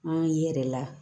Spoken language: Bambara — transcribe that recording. An ye la